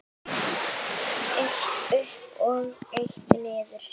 Eitt uppi og eitt niðri.